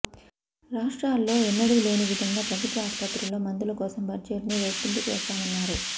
రాష్ట్రలో ఎన్నడు లేని విదంగా ప్రభుత్వ ఆస్పత్రుల్లో మందుల కోసం బడ్జెట్ను రెట్టింపు చేశామన్నారు